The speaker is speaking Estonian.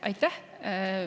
Aitäh!